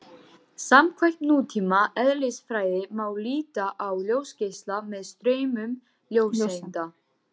Samkvæmt nútíma eðlisfræði má líta á ljósgeisla sem straum ljóseinda.